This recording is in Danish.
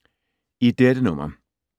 I dette nummer